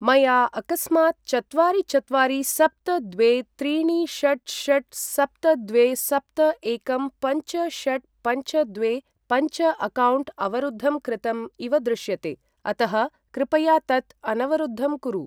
मया अकस्मात् चत्वारि चत्वारि सप्त द्वे त्रीणि षट् षट् सप्त द्वे सप्त एकं पञ्च षट् पञ्च द्वे पञ्च अक्कौण्ट् अवरुद्धं कृतम् इव दृश्यते अतः कृपया तत् अनवरुद्धं कुरु।